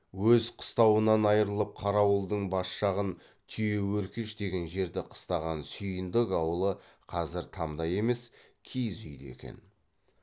өз қыстауынан айырылып қарауылдың бас жағын түйеөркеш деген жерді қыстаған сүйіндік аулы қазір тамда емес киіз үйде екен